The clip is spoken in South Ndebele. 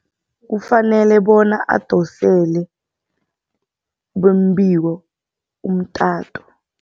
Kufanele bona adosele bombiko umtato.